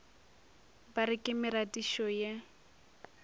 ba re ke meratišo ye